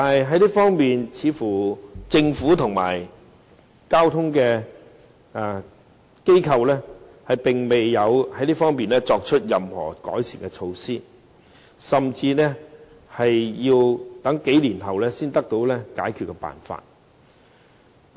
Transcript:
可是，政府和交通機構在這方面似乎並未有作出任何改善措施，甚至要在數年後才會有解決辦法。